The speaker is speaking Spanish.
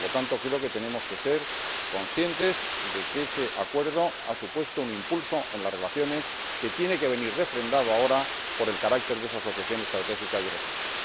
Por lo tanto, creo que tenemos que ser conscientes de que ese acuerdo ha supuesto un impulso en las relaciones, que tiene que venir refrendado ahora por el carácter de esa asociación estratégica birregional.